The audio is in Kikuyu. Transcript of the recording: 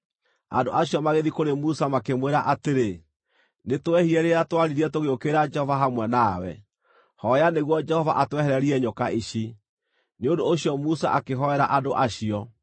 Andũ acio magĩthiĩ kũrĩ Musa makĩmwĩra atĩrĩ, “Nĩtwehirie rĩrĩa twaaririe tũgĩũkĩrĩra Jehova hamwe nawe. Hooya nĩguo Jehova atwehererie nyoka ici.” Nĩ ũndũ ũcio Musa akĩhoera andũ acio.